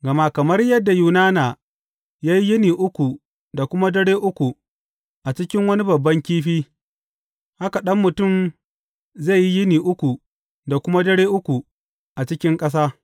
Gama kamar yadda Yunana ya yi yini uku da kuma dare uku a cikin wani babban kifi, haka Ɗan Mutum zai yi yini uku da kuma dare uku a cikin ƙasa.